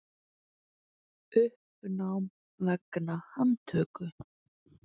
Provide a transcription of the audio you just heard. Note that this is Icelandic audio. Uppnám vegna handtöku